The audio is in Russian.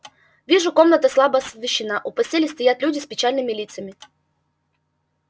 вижу комната слабо освещена у постели стоят люди с печальными лицами